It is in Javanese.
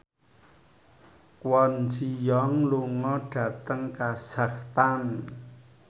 Kwon Ji Yong lunga dhateng kazakhstan